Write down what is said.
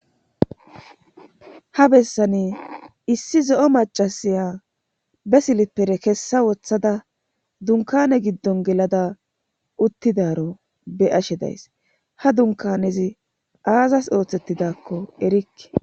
ha bessani issi zo7o macasiya be silippere kessa woththada dunkane giddon gelada uttidaro be ashe days ha dunkanezi aazas ooththettidakko erikke